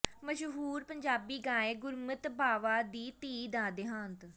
ਮਸ਼ਹੂਰ ਪੰਜਾਬੀ ਗਾਇਕ ਗੁਰਮੀਤ ਬਾਵਾ ਦੀ ਧੀ ਦਾ ਦੇਹਾਂਤ